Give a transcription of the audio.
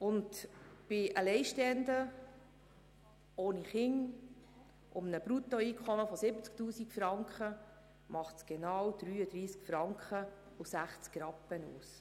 Bei Alleinstehenden ohne Kinder und einem Bruttoeinkommen von 70 000 Franken macht es genau 33 Franken und 60 Rappen aus.